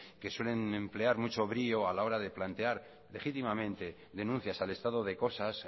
que suelen emplear mucho brío a la hora de plantear legítimamente denuncias al estado de cosas